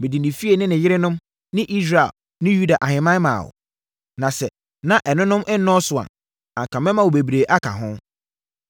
Mede ne fie ne ne yerenom ne Israel ne Yuda ahemman maa wo. Na sɛ na ɛnonom nnɔɔso a, anka mɛma wo bebree aka ho.